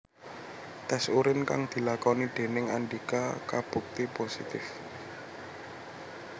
Test urin kang dilakoni déning Andika kabukti positif